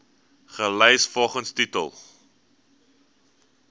gelys volgens titel